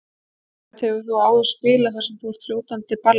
Herbert, hefurðu áður spilað þar sem þú ert á fljótandi balli?